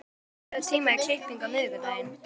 Haddur, pantaðu tíma í klippingu á miðvikudaginn.